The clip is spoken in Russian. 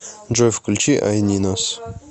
джой включи ай нинос